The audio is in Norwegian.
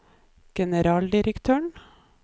generaldirektøren